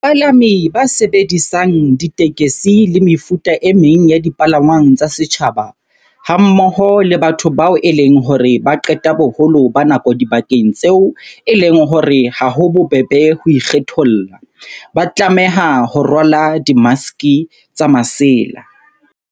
Bapalami ba sebedisang ditekesi le mefuta e meng ya dipalangwang tsa setjhaba, hammoho le batho bao e leng hore ba qeta boholo ba nako dibakeng tseo e leng hore ha ho bobebe ho ikgetholla, ba tlameha ho rwala dimaske tsa masela.